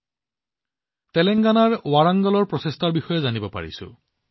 মই তেলেংগানাৰ ৱাৰাংগলৰ এটা মহান প্ৰচেষ্টাৰ বিষয়ে জানিব পাৰিছো